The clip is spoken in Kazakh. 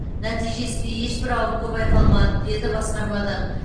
нәтижесінде ешбір ауытқу байқалмады деді басқармадан